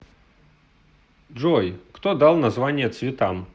джой кто дал названия цветам